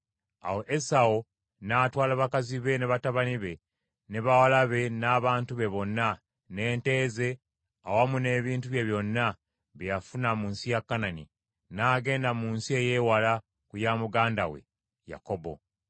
Awo Esawu n’atwala bakazi be, ne batabani be, ne bawala be n’abantu be bonna, n’ente ze, awamu n’ebintu bye byonna bye yafuna mu nsi ya Kanani; n’agenda mu nsi ey’ewala ku ya muganda we Yakobo.